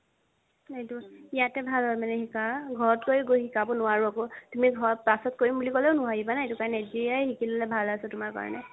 সেইটো ইয়াতে ভাল আৰু শিকা ঘৰত গৈ গৈ শিকাব নুৱাৰো আৰু আকৌ তুমি ঘৰত পাছত কৰিম বুলি ক্'লেও নোৱাৰিবা না সেইটো কাৰণে এতিয়াত শিকি ল'লে ভাল আছে তুমাৰ কাৰণে